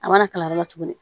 A mana kala yɔrɔ la tuguni